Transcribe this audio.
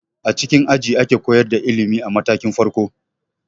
A cikin aji ake koyar da ilimi a matakin farko.